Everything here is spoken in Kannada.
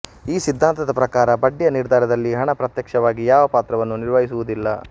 ಈ ಸಿದ್ಧಾಂತದ ಪ್ರಕಾರ ಬಡ್ಡಿಯ ನಿರ್ಧಾರದಲ್ಲಿ ಹಣ ಪ್ರತ್ಯಕ್ಷವಾಗಿ ಯಾವ ಪಾತ್ರವನ್ನೂ ನಿರ್ವಹಿಸುವುದಿಲ್ಲ